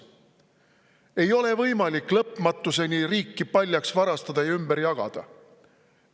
Ei ole võimalik lõpmatuseni riiki paljaks varastada ja ümber jagada.